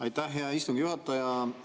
Aitäh, hea istungi juhataja!